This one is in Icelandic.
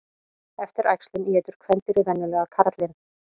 Eftir æxlun étur kvendýrið venjulega karlinn.